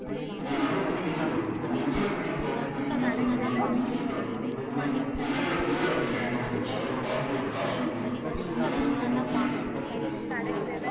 இது எல்லாமே நாம்ம கேள்வி பற்றுப்போம் இந்த intellectual properties என்னான்னு பாத்திங்கன்னா album இப்போக்கூட recent ஆ இளைய இளையராஜா issue ல போச்சு so இதுலா பாத்திங்கன்னா intellectual property